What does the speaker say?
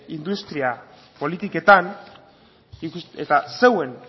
industria politiketan eta zeuen